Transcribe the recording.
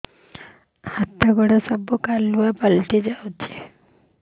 ହାତ ଗୋଡ ସବୁ କାଲୁଆ ପଡି ଯାଉଛି